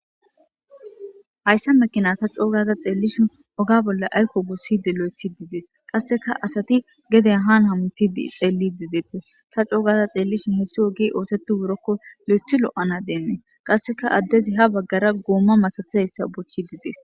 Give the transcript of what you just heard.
Hayssa mekina ta coogaza xeellishin oga bolla ayko gusside lo7ethi diidee qasseka asati geden haan hamuti xeelli dideete ta coogaza xeellishin hessi ogi ooseti wurokko lo7ethi lo7ana deennee qasseka addezi ha baggara goomma masatizayssa bochchi dides